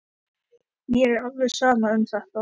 Mér er alveg sama um þetta.